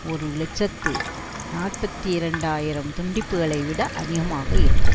ஒரு இலட்சத்தி நாற்பத்தி இரண்டு ஆயிரம் துண்டிப்புக்களை விட அதிகமாக இருக்கும்